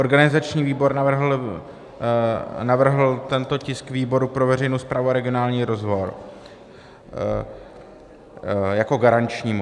Organizační výbor navrhl tento tisk výboru pro veřejnou správu a regionální rozvoj jako garančnímu.